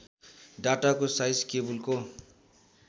डाटाको size केबुलको